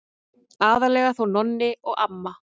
Aðallega þó Nonni og amma.